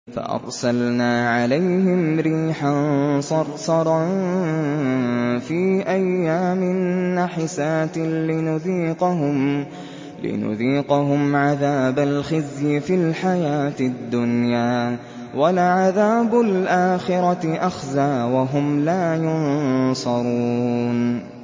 فَأَرْسَلْنَا عَلَيْهِمْ رِيحًا صَرْصَرًا فِي أَيَّامٍ نَّحِسَاتٍ لِّنُذِيقَهُمْ عَذَابَ الْخِزْيِ فِي الْحَيَاةِ الدُّنْيَا ۖ وَلَعَذَابُ الْآخِرَةِ أَخْزَىٰ ۖ وَهُمْ لَا يُنصَرُونَ